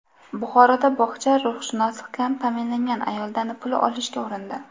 Buxoroda bog‘cha ruhshunosi kam ta’minlangan ayoldan pul olishga urindi.